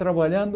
trabalhando